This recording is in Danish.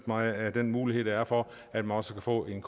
mig af den mulighed der er for at man også kan få en